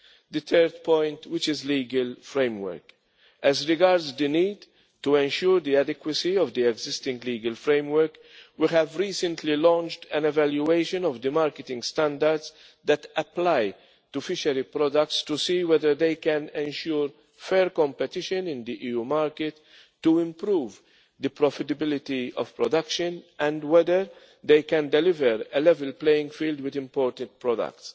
The third point, which is the legal framework as regards the need to ensure the adequacy of the existing legal framework, we have recently launched an evaluation of the marketing standards that apply to fishery products to see whether they can ensure fair competition in the EU market to improve the profitability of production, and whether they can deliver a level playing field with imported products.